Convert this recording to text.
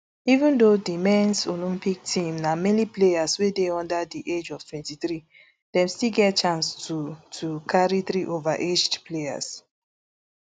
even though di mens olympic team na mainly players wey dey under di age of twenty-three dem still get chance to to carry three overaged players